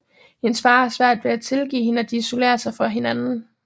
Hendes far har svært ved at tilgive hende og de isolerer sig fra hinanden